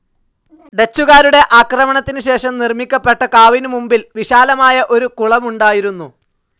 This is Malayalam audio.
ഡച്ചുകാരുടെ ആക്രമണത്തിന് ശേഷം നിർമിക്കപ്പെട്ട കാവിനു മുൻപിൽ വിശാലമായ ഒരു കുളമുണ്ടായിരുന്നു.